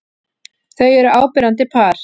Þau eru áberandi par.